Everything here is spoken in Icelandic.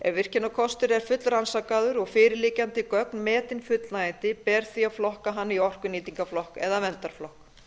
ef virkjunarkostur er fullrannsakaður og fyrir liggjandi gögn metin fullnægjandi ber því að flokka hann í orkunýtingarflokk eða verndarflokk